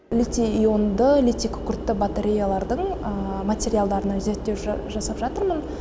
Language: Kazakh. литий ионды литий күкіртті батареялардың материалдарына зерттеу жасап жатырмын